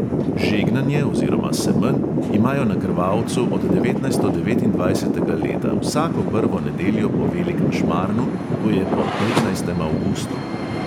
Žegnanje oziroma semenj imajo na krvavcu od devetnajsto devetindvajsetega leta vsako prvo nedeljo po velikem šmarnu, to je po petnajstem avgustu.